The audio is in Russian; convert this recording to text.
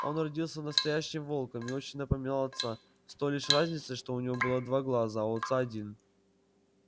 он родился настоящим волком и очень напоминал отца с той лишь разницей что у него было два глаза а у отца один